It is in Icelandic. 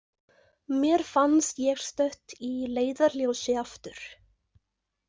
Mér fannst ég stödd í Leiðarljósi, aftur.